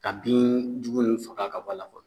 Ka bin jugu nunnu faga ka b'a la fɔlɔ